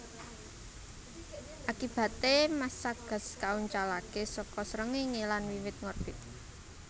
Akibaté massa gas kauncalaké saka Srengéngé lan wiwit ngorbit